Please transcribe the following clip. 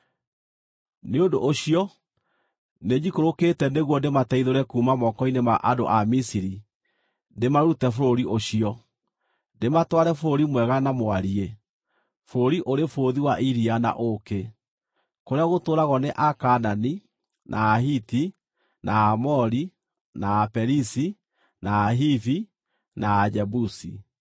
Nĩ ũndũ ũcio nĩnjikũrũkĩte nĩguo ndĩmateithũre kuuma moko-inĩ ma andũ a Misiri, ndĩmarute bũrũri ũcio, ndĩmatware bũrũri mwega na mwariĩ, bũrũri ũrĩ bũthi wa iria na ũũkĩ, kũrĩa gũtũũragwo nĩ Akaanani, na Ahiti, na Aamori, na Aperizi, na Ahivi, na Ajebusi.